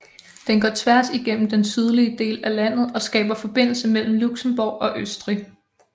Den går tværs igennem den sydlige del af landet og skaber forbindelse mellem Luxembourg og Østrig